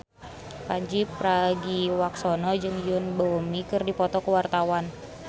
Pandji Pragiwaksono jeung Yoon Bomi keur dipoto ku wartawan